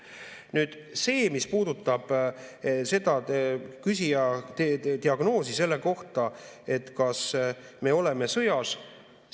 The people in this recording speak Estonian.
Nüüd see, mis puudutab küsija diagnoosi selle kohta, kas me oleme sõjas.